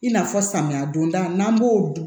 I n'a fɔ samiya donda n'an b'o dun